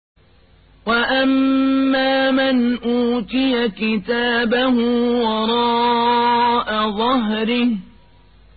وَأَمَّا مَنْ أُوتِيَ كِتَابَهُ وَرَاءَ ظَهْرِهِ